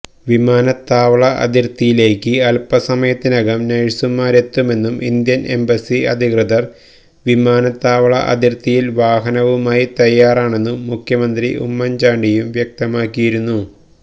വിമാനത്താവള അതിര്ത്തിയിലേക്ക് അല്പസമയത്തിനകം നഴ്സുമാരെത്തുമെന്നും ഇന്ത്യന് എംബസി അധികൃതര് വിമാനത്താവള അതിര്ത്തിയില് വാഹനവുമായി തയ്യാറാണെന്നും മുഖ്യമന്ത്രി ഉമ്മന് ചാണ്ടിയും വ്യക്തമാക്കിയിരുന്നു